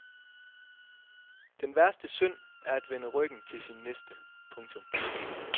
Den værste synd er at vende ryggen til sin næste. punktum